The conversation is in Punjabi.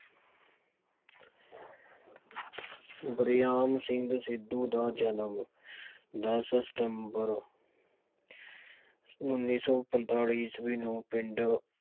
ਵਰਿਆਮ ਸਿੰਘ ਸੰਧੂ ਦਾ ਜਨਮ ਦਸ ਸਤੰਬਰ ਉੱਨੀ ਸੌ ਪੰਤਾਲੀ ਈਸਵੀ ਨੂੰ ਪਿੰਡ